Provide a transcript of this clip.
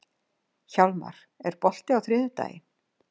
Hjálmar, er bolti á þriðjudaginn?